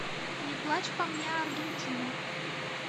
не плачь по мне аргентина